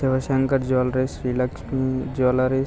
Shivshankar jewelleries Sri Lakshmi jewelleries --